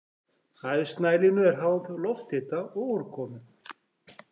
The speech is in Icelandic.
Hæð snælínu er háð lofthita og úrkomu.